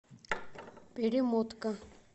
перемотка